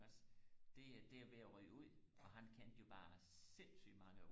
iggås det det er ved og ryge ud og han kendte jo bare sindssygt mange